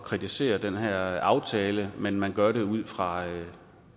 kritisere den her aftale men at man gør det ud fra